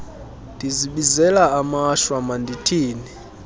ndizibizela amashwa mandithini